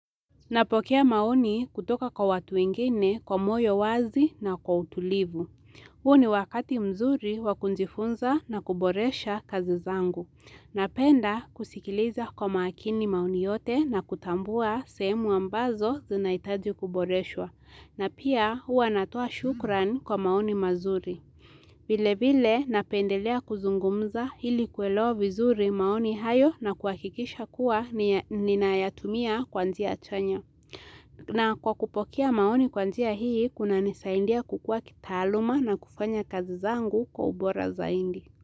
Napokea maoni kutoka kwa watu ingine kwa moyo wazi na kwa utulivu. Huo ni wakati mzuri wa kujifunza na kuboresha kazi zangu. Napenda kusikiliza kwa maakini maoni yote na kutambua sehemu ambazo zinaitaji kuboreshwa. Na pia huwa natoa shukran kwa maoni mazuri. Vile vile napendelea kuzungumza ili kuelewa vizuri maoni hayo na kuhakikisha kuwa ninayatumia kwa njia chanya. Na kwa kupokea maoni kwa njia hii, kunanisaidia kukua kitaaluma na kufanya kazi zangu kwa ubora zaidi.